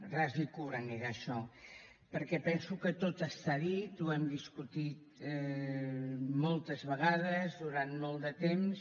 ras i curt anirà això perquè penso que tot està dit ho hem discutit moltes vegades durant molt de temps